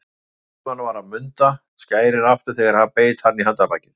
Guðmann var að munda skærin aftur þegar ég beit hann í handarbakið.